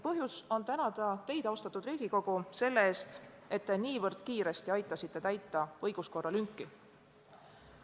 Põhjust on tänada ka teid, austatud Riigikogu, selle eest, et te niivõrd kiiresti aitasite täita õiguskorra lünki.